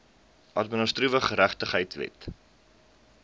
administratiewe geregtigheid wet